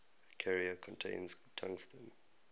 carrier contains tungsten